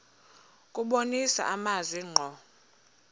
kubonisa amazwi ngqo